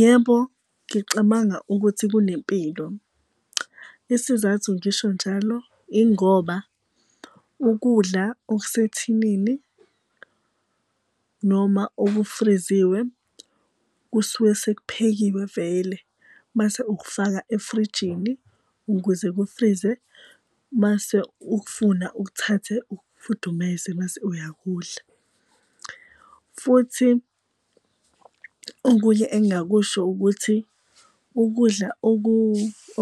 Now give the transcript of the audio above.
Yebo, ngicabanga ukuthi kunempilo. Isizathu ngisho njalo ingoba ukudla okusethinini noma okufriziwe kusuke sekuphekiwe vele, mase ukufaka efrijini ukuze kufrize mase ukufuna ukuthathe ukufudumeze mase uyakudlula. Futhi okunye engakusho ukuthi ukudla